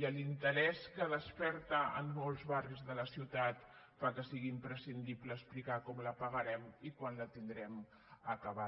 i l’interès que desperta en molts barris de la ciutat fa que sigui imprescindible explicar com la pagarem i quan la tindrem acabada